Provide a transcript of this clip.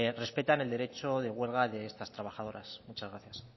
respetan el derecho de huelga de estas trabajadoras muchas gracias